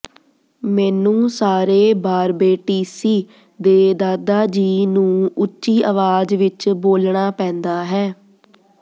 ਮੈਨੂੰ ਸਾਰੇ ਬਾਰਬੇਈਸੀ ਦੇ ਦਾਦਾ ਜੀ ਨੂੰ ਉੱਚੀ ਆਵਾਜ਼ ਵਿੱਚ ਬੋਲਣਾ ਪੈਂਦਾ ਹੈ